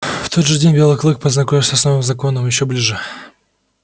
в тот же день белый клык познакомился с новым законом ещё ближе